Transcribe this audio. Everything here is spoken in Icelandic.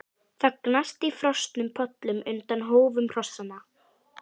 Það gnast í frosnum pollum undan hófum hrossanna.